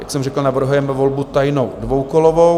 Jak jsem řekl, navrhujeme volbu tajnou, dvoukolovou.